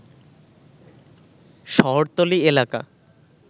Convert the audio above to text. শহরতলী এলাকা